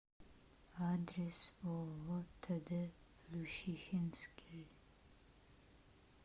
адрес ооо тд плющихинский